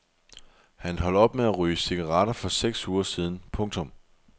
Han holdt op med at ryge cigaretter for seks uger siden. punktum